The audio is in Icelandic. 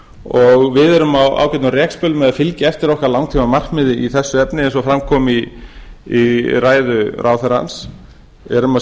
og við erum á ágætum rekspöl með að fylgja eftir okkar langtímamarkmiði í þessu efni eins og fram kom í ræðu ráðherrans erum að